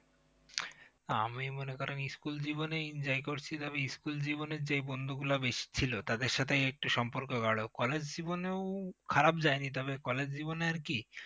আমি মনে করেন আমি school জীবনে enjoy করেছি এবং school জীবনে যে বন্ধু গুলো বেশি ছিল তাদের সাথে এই সম্পর্ক গারো কিন্তু college জীবনেও খারাপ যায় নি তবে college জীবনে আর কি